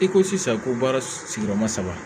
I ko sisan ko baara sigiyɔrɔma saba